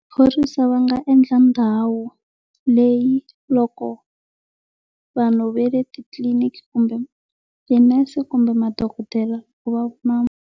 Phorisa va nga endla ndhawu leyi loko vanhu va le titililiniki kumbe tinese kumbe madokodela .